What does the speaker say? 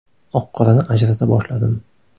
Oq-qorani ajrata boshladim.